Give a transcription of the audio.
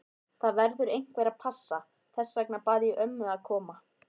Það verður einhver að passa, þess vegna bað ég ömmu að koma.